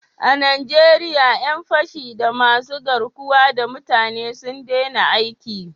A Najeriya 'yan fashi da masu garkuwa da mutane sun daina aiki